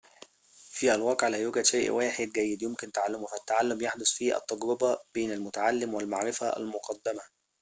في الواقع لا يوجد شيء واحد جيد يمكن تعلمه فالتعلم يحدث في التجربة بين المُتعلم والمعرفة المُقدَمة